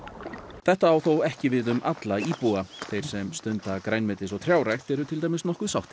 þetta á þó ekki við um alla íbúa þeir sem stunda grænmetis og trjárækt eru til dæmis nokkuð sáttir